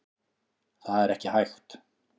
Það er ekki hægt.